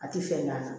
A tɛ fɛn ɲa kan